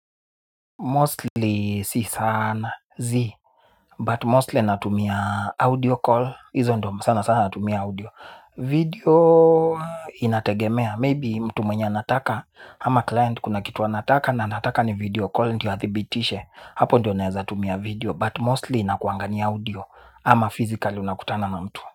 Mostly si sana, zi But mostly natumia audio call. Hizo ndo sana sana natumia audio. Video inategemea Maybe mtu mwenye anataka ama client kuna kitu anataka. Na anataka ni video call. Ndiyo athibitishe. Hapo ndio naeza tumia video But mostly inakuanga ni audio. Ama physically unakutana na mtu.